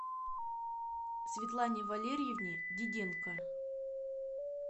светлане валерьевне диденко